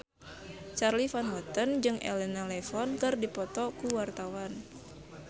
Charly Van Houten jeung Elena Levon keur dipoto ku wartawan